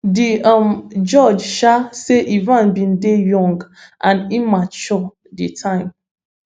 di um judge um say evans bin dey young and immature di time